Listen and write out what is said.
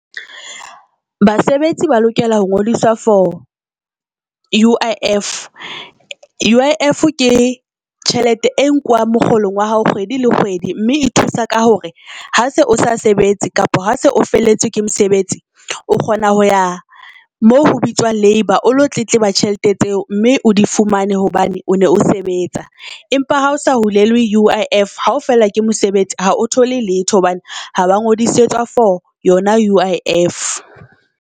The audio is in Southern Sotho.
Basebetsi ba lokela ho ngodiswa for U_I_F. U_I_F ke tjhelete e nkuwang mokgolong wa hao kgwedi le kgwedi. Mme e thusa ka hore ha se o sa sebetse kapa ha se o felletswe ke mosebetsio kgona ho ya moo ho bitswang labour, o lo tletleba tjhelete tseo mme o di fumane. Hobane o ne o sebetsa, empa ha o sa hulelwe U_I_F hao fellwa ke mosebetsi ha o thole letho hobane ha ba ngodisetsa for yona U_I_F.